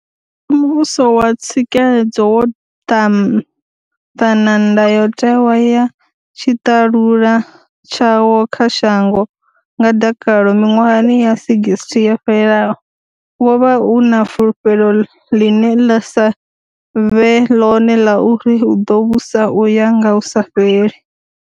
Musi muvhuso wa tsikeledzo wo ṱana ndayotewa ya tshiṱalula tshawo kha shango nga dakalo miṅwahani ya 60 yo fhelaho, wo vha u na fulufhelo ḽine ḽa sa vhe ḽone ḽa uri u ḓo vhusa u ya nga hu sa fheli.